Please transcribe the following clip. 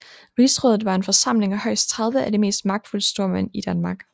Rigsrådet var en forsamling af højst 30 af de mest magtfulde stormænd i Danmark